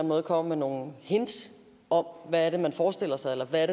måde kommer med nogle hints om hvad det er man forestiller sig eller hvad